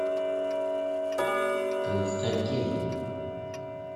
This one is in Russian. константин